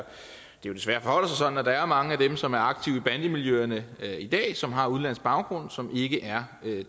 desværre forholder sig sådan at der er mange af dem som er aktive i bandemiljøerne i dag som har udenlandsk baggrund som ikke er